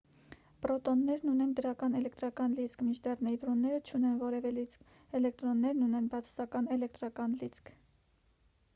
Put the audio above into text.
պրոտոններն ունեն դրական էլեկտրական լիցք մինչդեռ նեյտրոնները չունեն որևէ լիցք էլեկտրոններն ունեն բացասական էլեկտրական լիցք